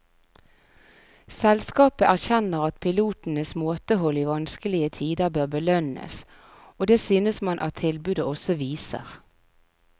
Selskapet erkjenner at pilotenes måtehold i vanskelige tider bør belønnes, og det synes man at tilbudet også viser.